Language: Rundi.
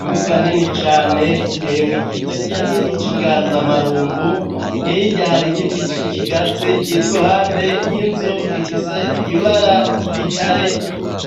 Imbuga nini cane itemwe igiti kinini c'inganzamarumbu hiye irahari igiti coikigazi kiriruhande y'inzu ifise ibara ry'igitare,